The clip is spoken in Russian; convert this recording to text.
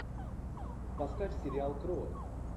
поставь сериал крот